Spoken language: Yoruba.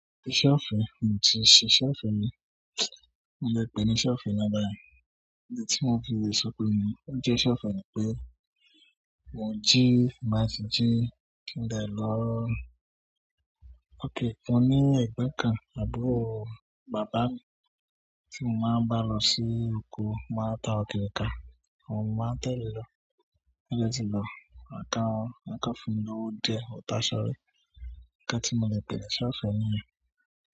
Iṣẹ́ ọ̀fẹ́, mo ti n ṣe iṣẹ́ ọ̀fẹ́ mi. Mo le pè ní iṣẹ́ ọ̀fẹ́ lábára. Ohun tí mo fi lè sọ pé ì ni ó jẹ́ iṣẹ́ ọ̀fẹ́ mi pé mo jí, máa ń jí kíńdàì lọ ókè kan ní ẹ̀gbẹ́kan àbúró bàbá mi tí mo máa ń bá lọ sí oko. Mo máa ta ọ̀kẹ́ ká, àwọn ọmọ máa tẹ̀le lọ. Bí a bá ti lọ, àká fún mi lówo dẹ́ òótọ́ sọrẹ́. Nkan tí mo le beree ṣọ̀fẹ́ mi.